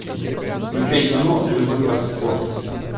включай кино любовь как спорт